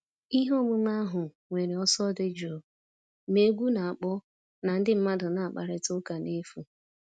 Ihe omume ahụ nwere ọsọ dị jụụ, ma egwu na-akpọ na ndị mmadụ na-akparịta ụka n'efu.